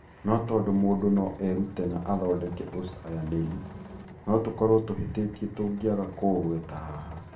No tondũ mũndũ no erute na athondeke ũcayanĩri, no tũkorũo tũhĩtĩtie tũngĩaga kũũgweta haha.